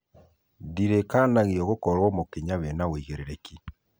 ndirikanagio gũkorwo mũkinya wena ũigĩrĩrĩki